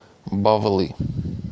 бавлы